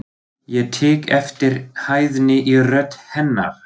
Ég tek eftir hæðni í rödd hennar.